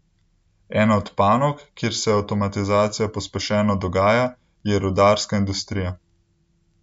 Ena od panog, kjer se avtomatizacija pospešeno dogaja, je rudarska industrija.